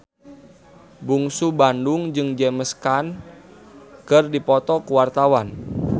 Bungsu Bandung jeung James Caan keur dipoto ku wartawan